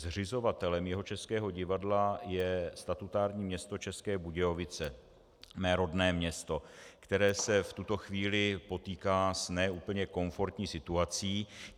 Zřizovatelem Jihočeského divadla je statutární město České Budějovice, mé rodné město, které se v tuto chvíli potýká s ne úplně komfortní situací.